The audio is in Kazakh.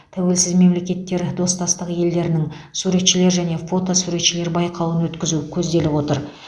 тәуелсіз мемлкеттер достастық елдерінің суретшілер және фотосуретшілер байқауын өткізу көзделіп отыр